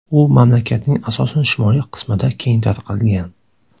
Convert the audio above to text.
U mamlakatning asosan shimoliy qismida keng tarqalgan.